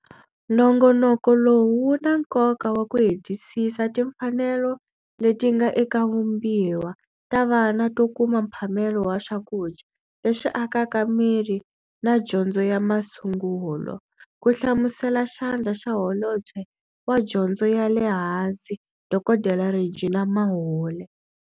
Nongonoko lowu wu na nkoka wa ku hetisisa timfanelo leti nga eka vumbiwa ta vana to kuma mphamelo wa swakudya leswi akaka miri na dyondzo ya masungulo, ku hlamusela Xandla xa Holobye wa Dyondzo ya le Hansi Dkd Reginah Mhaule.